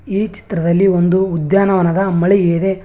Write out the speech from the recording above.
ಈ ಚಿತ್ರದಲ್ಲಿ ಒಂದು ಉದ್ಯಾನವನದ ಮಳಿಗೆ ಇದೆ.